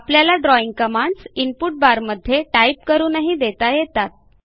आपल्याला drawing commands input बारमध्ये type करूनही देता येतात